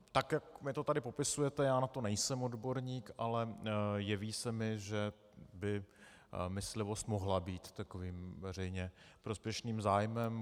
Tak jak mi to tady popisujete, já na to nejsem odborník, ale jeví se mi, že by myslivost mohla být takovým veřejně prospěšným zájmem.